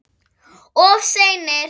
Of seinir!